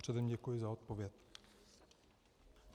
Předem děkuji za odpověď.